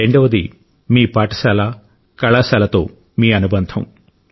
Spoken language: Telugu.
రెండవది మీ పాఠశాల కళాశాలతో మీ అనుబంధం